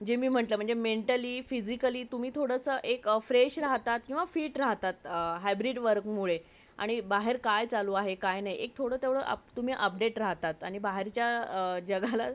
वैगेरे घेत नसते जस तिथे एक आजी असते तिथं ती त्याच्या company मध्ये काम job करत असते ती म्हणते ती तुझ्यासाठी तुझीच वाट बाघत होती आता तू आला आहेस आता निवांत शेवटचा श्वास घेऊ शकाल किंवा तिला tension येणार नाही